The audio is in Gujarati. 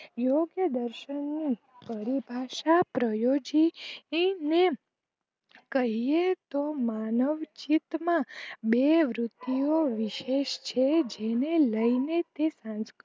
યોજદર્શન નું પરિભાસા પ્રયોજીને કહીયે તો માનવચિત માં બે વૃતિયો વિશેસ છે જેને લઈને તે સંસ્કૃત